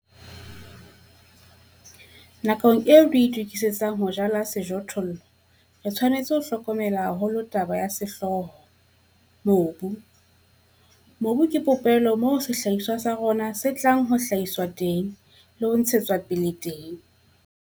Nakong eo re itokisetsang ho jala sejothollo re tshwanetse ho hlokomela haholo taba ya sehlooho mobu. Mobu ke popelo moo sehlahiswa sa rona se tla hlahiswa teng le ho ntshetswa pele teng.